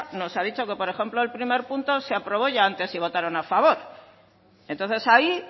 nos ha dicho que por ejemplo el primer punto se aprobó ya antes y votaron a favor entonces ahí